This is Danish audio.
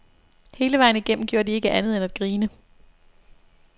Hele vejen igennem gjorde de ikke andet end at grine.